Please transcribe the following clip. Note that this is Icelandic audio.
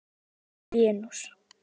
NASA- Venus.